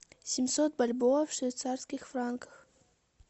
семьсот бальбоа в швейцарских франках